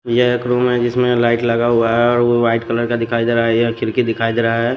यह एक रूम है जिसमें लाइट लगा हुआ है और वो वाइट कलर का दिखाई दे रहा है यह खिड़की दिखाई दे रहा है।